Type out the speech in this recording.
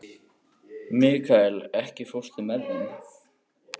Mikkael, ekki fórstu með þeim?